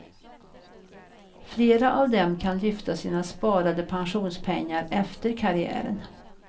Flera av dem kan lyfta sina sparade pensionspengar efter karriären.